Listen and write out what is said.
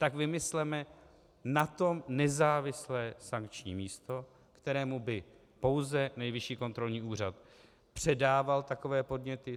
Tak vymysleme na to nezávislé sankční místo, kterému by pouze Nejvyšší kontrolní úřad předával takové podněty.